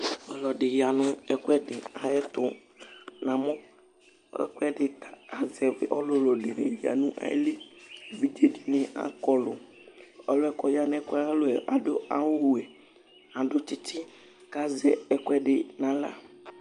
Ɔlɔdi ya nʋ ɛkʋɛdi ayʋ ɛtu Ɛkʋɛdi kʋ azɛ ɔlʋlu du nʋ ayìlí Evidze dìní akɔ lu Ɔliɛ kʋ ɔya nʋ ɛkʋɛ ayʋ alɔ ye adu awu wɛ Adu tsitsi kʋ azɛ ɛkʋɛdi nʋ aɣla